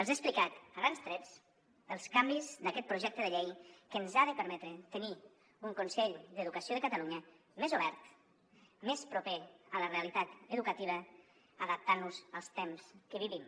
els he explicat a grans trets els canvis d’aquest projecte de llei que ens ha de permetre tenir un consell d’educació de catalunya més obert més proper a la realitat educativa adaptant nos als temps que vivim